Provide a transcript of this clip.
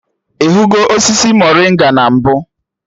Ị hụgo osisi morịnga na mbụ?